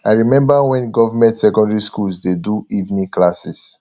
i remember wen government secondary schools dey do evening classes